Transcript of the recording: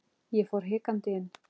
Ég fór hikandi inn.